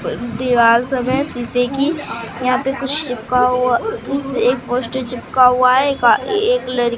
दीवाल सब है शीशे की यहां पे कुछ चिपका हुआ कुछ एक पोस्टर चिपका हुआ है एक अह एक लड़की--